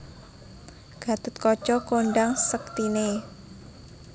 Gathotkaca kondhang sektiné